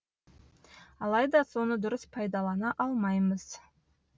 алайда соны дұрыс пайдалана алмаймыз